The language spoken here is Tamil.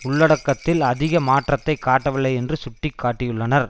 உள்ளடக்கத்தில் அதிக மாற்றத்தை காட்டவில்லை என்று சுட்டி காட்டியுள்ளனர்